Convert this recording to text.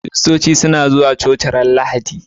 christoci suna zuwa coci ranar lahadi